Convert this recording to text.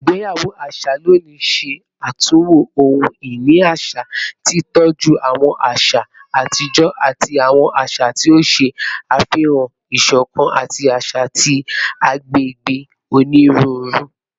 Igbeyawo aṣa loni ṣe atunwo ohun-ini aṣa, titọju awọn aṣa atijọ ati awọn aṣa ti o ṣe afihan isokan ati aṣa ti agbegbe oniruuru